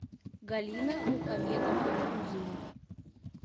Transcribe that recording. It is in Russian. галина мухамедовна кузина